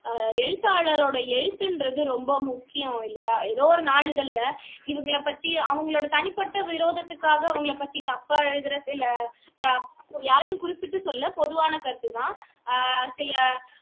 ஆஹ் எழுத்தாளருடைய எழுத்து என்பது ரொம்ப முக்கியம் இல்லையா எதோ ஒரு நாளிதழில இவங்களை பத்தி அவங்களோட தனிப்பட்ட விரோதத்துக்காக அவங்களை பத்தி தப்பா எழுதுறது இல்ல யாரையும் குறிப்பிட்டு சொல்லல பொதுவான கருத்து தான் ஆஹ் சில